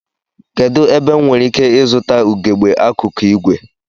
Kedụ ebe m nwereike ịzụta ugegbe akụkụ ìgwè?